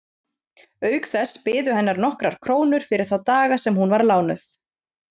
Auk þess biðu hennar nokkrar krónur fyrir þá daga sem hún var lánuð.